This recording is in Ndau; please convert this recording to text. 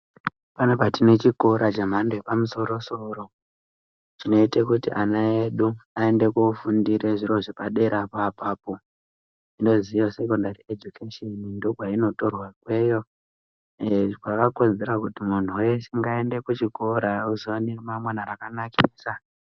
Panapa tine chikora che mhando yepa musoro soro chinoite kuti ana edu ayende ko fundire zviro zvepa dera po apapo inozi iyo sekondari ejukesheni ndo kwaino torwa ikweyo zvobva zvakodzera kuti muntu wese ayende ku chikora azova ne ra mangwana raka nakisa.